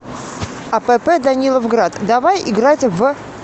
апп даниловград давай играть в